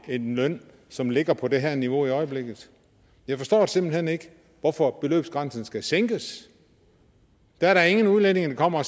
en løn som ligger på det her niveau i øjeblikket jeg forstår simpelt hen ikke hvorfor beløbsgrænsen skal sænkes der er da ingen udlændinge der kommer og